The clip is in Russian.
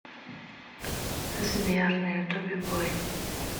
сбер на ютубе бой